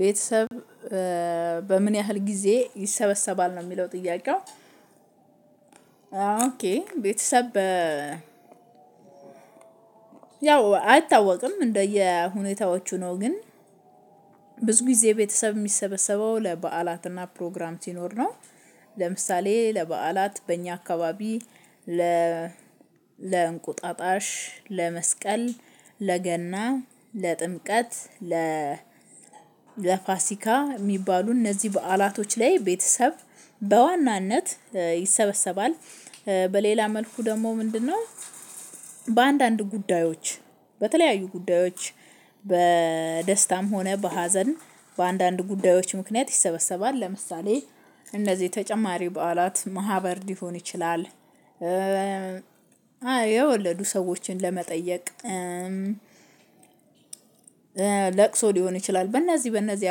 ቤተሰብ በምን ያህል ጊዜ ይሰበሰባል ነው የሚለው ጥያቄው? ኦኬ ቤተሰብ ያው አይታወቅም እንደየሁኔታዎቹ ነው። ግን ብዙ ጊዜ ቤተሰብ የሚሰበሰበው ለበዓላትና ፕሮግራም ሲኖር ነው። ለምሳሌ ለበዓላት በእኛ አካባቢ ለ ለእንቁጣጣሽ ለመስቀል ለገና ለጥምቀት ለ ለፋሲካ የሚባሉ በዐላቶች ላይ ቤተሰብ በዋናነት ይሰበሰባል። በሌላ መልኩ ደግሞ ምንድነው? በአንዳንድ ጉዳዮች በተለያዩ ጉዳዮች በደስታም ሆነ በሀዘን በአንዳንድ ጉዳዮች ምክንያት ይሰበሰባል። ለምሳሌ እነዚህ ተጨማሪ በዓላት ማህበር ሊሆን ይችላል። የወለዱ ሰዎችን ለመጠየቅ ለቅሶ ሊሆን ይችላል። በእነዚህ በእነዚህ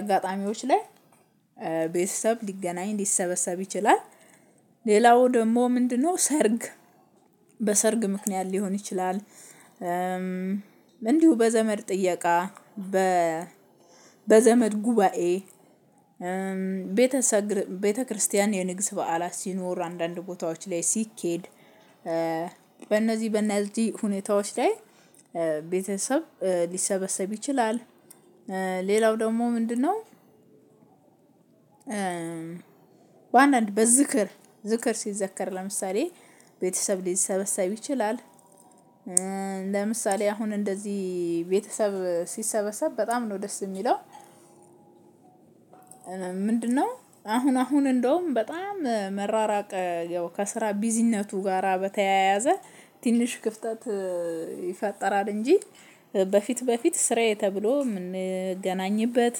አጋጣሚዎች ላይ ቤተሰብ ሊገናኝ ሊሰበሰብ ይችላል። ሌላው ደግሞ ምንድነው? ሰርግ በሰርግ ምክንያት ሊሆን ይችላል። እንዲሁ በዘመድ ጥየቃ በዘመድ ጉባኤ ቤተክርስቲያን የንግስ በዓላት ሲኖር አንድአንድ ቦታዎች ላይ ሲኬድ። በእነዚህ በእነዚህ ሁኔታዎች ላይ ቤተሰብ ሊሰበሰብ ይችላል። ሌላው ደግሞ ምንድነው? በአንዳንድ በዝክር ዝክር ሲዘከር ለምሳሌ ቤተሰብ ሊሰበሰብ ይችላል። ለምሳሌ አሁን እንደዚህ ቤተሰብ ሲሰበሰብ በጣም ነው ደስ የሚለው። ምንድነው? አሁን አሁን እንደውም በጣም መራራቅ ያው ከስራ ቢዚነቱ ጋራ በተያያዘ ትንሽ ክፍተት ይፈጠራል። እንጂ በፊት በፊት ስራዬ ተብሎ የምንገናኝበት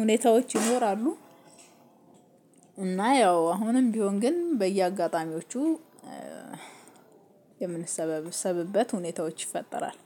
ሁኔታዎች ይኖራሉ። እና ያው አሁን ቢሆን ግን በየአጋጣሚዎቹ የምንሰበሰብበት ሁኔታዎች ይፈጠራል።